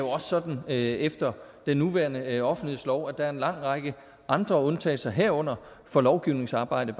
også sådan efter den nuværende offentlighedslov at der er en lang række andre undtagelser herunder for lovgivningsarbejde